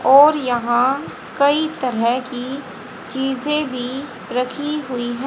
और यहां कई तरह की चीजे भी रखी हुई हैं।